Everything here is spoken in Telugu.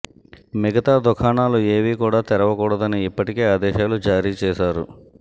మిగతా దుకాణాలు ఏవీ కూడా తెరవకూడదని ఇప్పటికే ఆదేశాలు జారీ చేశారు